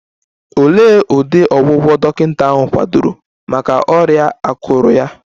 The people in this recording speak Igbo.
Olee ụdị ọgwụgwọ dọkịta ahụ kwadoro maka ọrịa akụrụ ya?